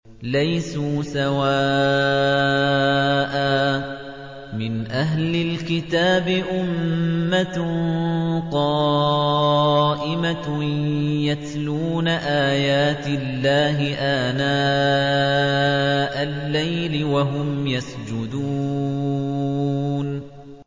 ۞ لَيْسُوا سَوَاءً ۗ مِّنْ أَهْلِ الْكِتَابِ أُمَّةٌ قَائِمَةٌ يَتْلُونَ آيَاتِ اللَّهِ آنَاءَ اللَّيْلِ وَهُمْ يَسْجُدُونَ